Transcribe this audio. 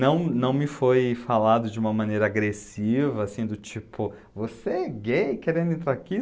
Não, não me foi falado de uma maneira agressiva, assim, do tipo, você é gay querendo entrar aqui?